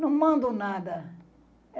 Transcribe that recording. Não mando nada.